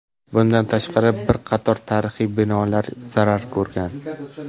Bundan tashqari, bir qator tarixiy binolar zarar ko‘rgan.